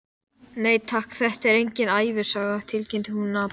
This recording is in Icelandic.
Nei, takk, þetta er engin ævisaga, tilkynnti hún napurlega.